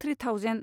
three thousand